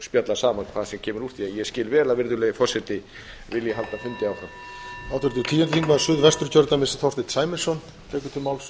spjalla saman hvað sem kemur út úr því ég skil vel að virðulegi forseti vilji halda fundi áfram